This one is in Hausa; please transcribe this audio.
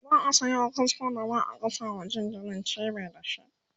za'a Sayo kasko da za'a gasa ma jinjirin cibi da shi